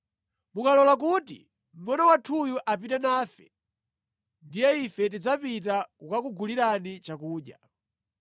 Mukalola kuti mngʼono wathuyu apite nafe, ndiye ife tidzapita kukakugulirani chakudya.